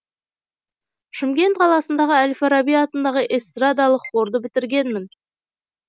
шымкент қаласындағы әл фараби атындағы эстрадалық хорды бітіргенмін